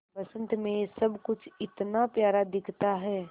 बसंत मे सब कुछ इतना प्यारा दिखता है